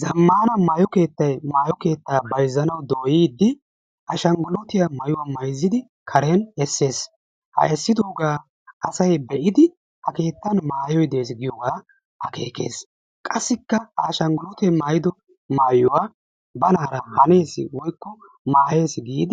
Zamman maayo keettay , maayo keetta bayzzanaw dooyide ashshangulutiyaa maayuwa mayzziidi karen essees. ha eessidooga asay be'idi ha kettan maayyoy de'ees giyooga akeekes. qassikka ha ashshanggulute maayyido maayuwaa banara giigees woykko dees giid